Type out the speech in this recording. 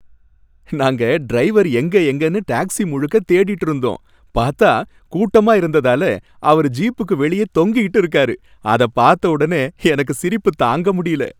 நாங்க டிரைவர் எங்க எங்கன்னு டாக்சி முழுக்க தேடிட்டு இருந்தோம், பார்த்தா கூட்டமா இருந்ததால அவரு ஜீப்புக்கு வெளியே தொங்கிகிட்டு இருக்காரு. அத பார்த்தவுடனே எனக்கு சிரிப்பு தாங்க முடியல.